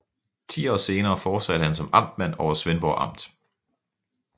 Ti år senere fortsatte han som amtmand over Svendborg Amt